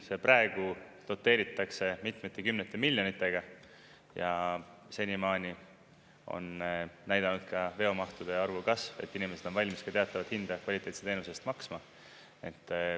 See praegu doteeritakse mitmete kümnete miljonitega ja senimaani on näidanud ka veomahtude arvu kasv, et inimesed on valmis ka teatavat hinda kvaliteetse teenuse eest maksma.